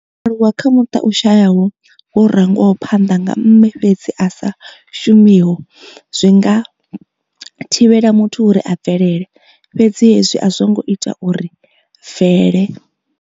U aluwa kha muṱa u shayaho wo rangwaho phanḓa nga mme fhedzi a sa shumiho zwi nga thivhela muthu uri a bvelele, fhedzi hezwi a zwo ngo ita uri Vele.